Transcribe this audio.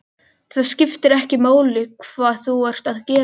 Það skiptir ekki máli hvað þú ert að gera.